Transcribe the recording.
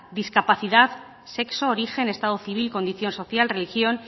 discapacidad sexo origen estado civil condición social religión